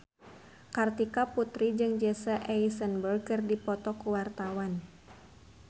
Kartika Putri jeung Jesse Eisenberg keur dipoto ku wartawan